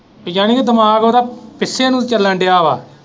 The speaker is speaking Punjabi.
ਜਾਨੀ ਕ ਦਿਮਾਗ ਉਹਦਾ ਪਿੱਛੇ ਨੂੰ ਹੀ ਚੱਲਣ ਦਿਆ ਵਾ।